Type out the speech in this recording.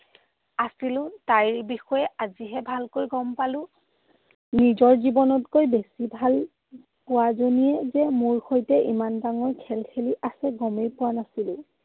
আছিলো। তাইৰ বিষয়ে আজিহে ভালকৈ গম পালো। নিজৰ জীৱনতকৈ বেছি ভাল পোৱাজনীয়ে যে মোৰ সৈতে ইমান ডাঙৰ খেল খেলি আছিল, গমেই পোৱা নাছিলো।